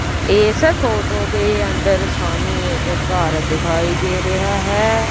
ਇਹ ਫੋਟੋ ਦੇ ਅੰਦਰ ਸਾਨੂੰ ਇਕ ਘਰ ਦਿਖਾਈ ਦੇ ਰਿਹਾ ਹੈ।